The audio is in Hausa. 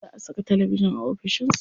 Za a saka talabijin a ofishin sa.